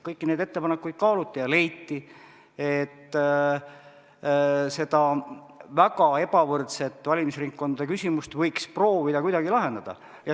Kõiki neid ettepanekuid kaaluti ja leiti, et seda väga ebavõrdsete valimisringkondade küsimust võiks proovida kuidagi lahendada.